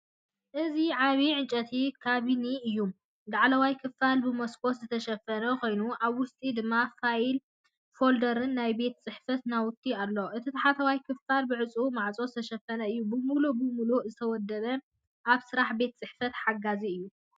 እዚ ዓቢ ዕንጨይቲ ካቢነ እዩ፤ ላዕለዋይ ክፋል ብመስኮት ዝተሸፈነ ኮይኑ ኣብ ውሽጢ ድማ ፋይል ፎልደርን ናይ ቤት ጽሕፈት ናውቲን ኣሎ። እቲ ታሕተዋይ ክፋል ብዕጹው ማዕጾ ዝተሸፈነ እዩ። ምሉእ ብምሉእ ዝተወደበን ኣብ ስራሕ ቤት ጽሕፈት ሓጋዚን እዩ።